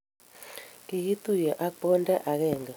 kikituye ak bonde age.